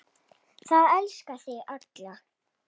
Það elskuðu þig allir.